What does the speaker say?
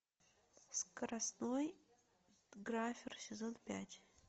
скоростной графер сезон пять